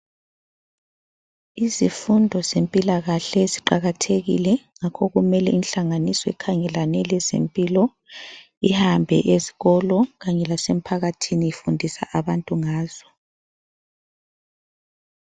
Izifundo zempilakahle ziqakathekile ,ngakho kumele inhlanganiso ekhangelane lezempilo ihambe ezikolo kanye lasemphakathini ifundisa abantu ngazo .